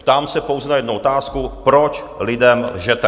Ptám se pouze na jednu otázku, proč lidem lžete.